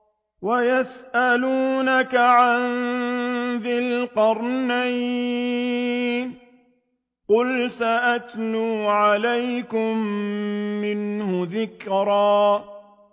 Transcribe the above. وَيَسْأَلُونَكَ عَن ذِي الْقَرْنَيْنِ ۖ قُلْ سَأَتْلُو عَلَيْكُم مِّنْهُ ذِكْرًا